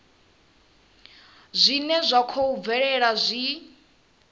zwine zwa khou bvelela zwi